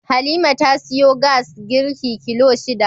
Halima ta siyo gas girki kilo shida